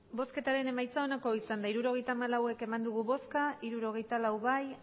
emandako botoak hirurogeita hamalau bai hirurogeita lau ez